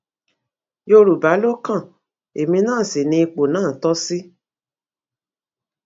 yorùbá ló kan èmi náà sí ní ipò náà tó ṣí